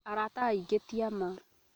Arata aingĩ ti a ma